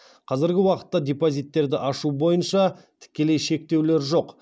қазіргі уақытта депозиттерді ашу бойынша тікелей шектеулер жоқ